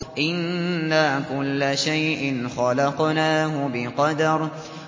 إِنَّا كُلَّ شَيْءٍ خَلَقْنَاهُ بِقَدَرٍ